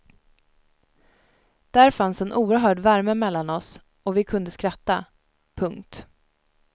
Där fanns en oerhörd värme mellan oss och vi kunde skratta. punkt